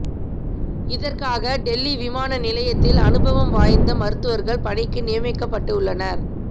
இதற்காக டெல்லி விமான நிலையத்தில் அனுபவம் வாய்ந்த மருத்துவர்கள் பணிக்கு நியமிக்கப்பட்டுள்ளனர்